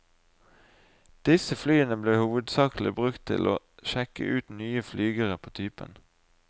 Disse flyene ble hovedsakelig brukt til å sjekke ut nye flygere på typen.